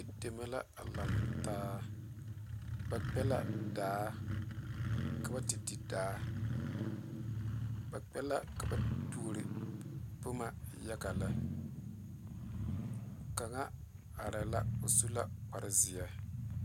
Teŋa deme la lantaa ba kpa la daa ka ba te di daa ba kpɛ la ka ba te toro boma yaga lɛ kaŋa are la o su la kpaare zeɛ.